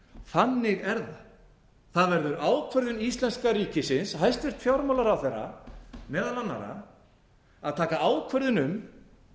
þannig er það það verður ákvörðun íslenska ríkisins hæstvirtur fjármálaráðherra meðal annarra að taka ákvörðun um